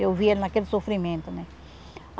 Eu via naquele sofrimento, né?